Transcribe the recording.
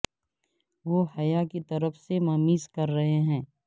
وہ حیا کی طرف سے ممیز کر رہے ہیں